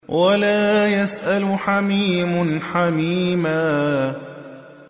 وَلَا يَسْأَلُ حَمِيمٌ حَمِيمًا